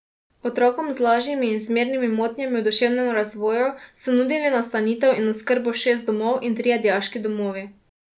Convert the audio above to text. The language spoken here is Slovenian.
Otrokom z lažjimi in zmernimi motnjami v duševnem razvoju so nudili nastanitev in oskrbo šest domov in trije dijaški domovi.